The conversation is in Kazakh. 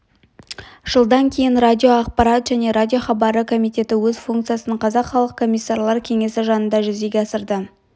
жылдан кейін радиоақпарат және радиохабары комитеті өз функциясын қазақ халық комиссарлар кеңесі жанында жүзеге асырды